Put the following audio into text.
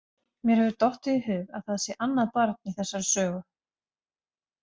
Mér hefur dottið í hug að það sé annað barn í þessari sögu.